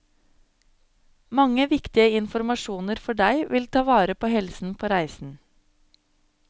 Mange viktige informasjoner for deg vil ta vare på helsen på reisen.